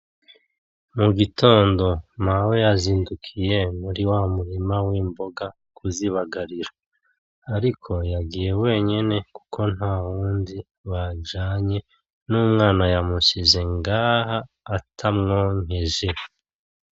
Mugitondo mawe yazindukiye muriwa murima wimboga kuzibagarira ariko yagiyeyo wenyene kuko ntawundi bajanye n'umwana yamusize ngaha atamwonkeje.